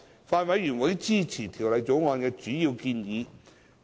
法案委員會支持《條例草案》的主要建議。